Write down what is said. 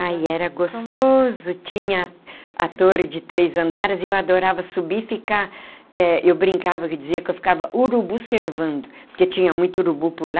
Ai, era gostoso, tinha a torre de três andares e eu adorava subir e ficar, eh eu brincava que dizia que eu ficava urubu servando, porque tinha muito urubu por lá.